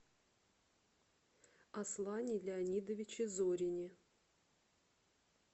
аслане леонидовиче зорине